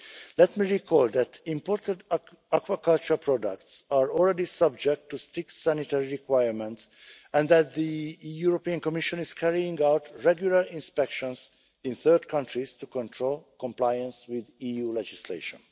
Let me recall that imported aquaculture products are already subject to strict sanitary requirements and that the European Commission is carrying out regular inspections in third countries to control compliance with EU legislation.